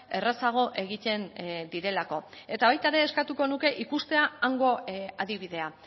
errazago egiten direlako eta baita ere eskatuko nuke ikustea hango adibidea